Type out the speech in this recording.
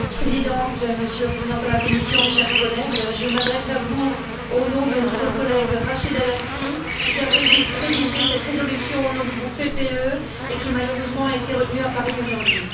Madame la Présidente, Monsieur le représentant de la Commission, mes chers collègues, je m'adresse à vous au nom de notre collègue Rachida Dati, qui a rédigé cette résolution au nom du groupe PPE et qui, malheureusement, a été retenue à Paris aujourd'hui.